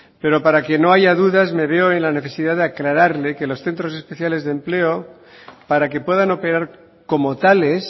pero para que no haya duda me veo en la necesidad de aclararle que los centros especiales de empleo para que puedan operar como tales